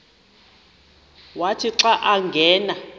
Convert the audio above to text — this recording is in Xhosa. wathi xa angena